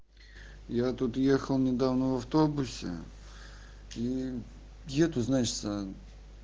я тут ехал недавно в автобусе и еду значится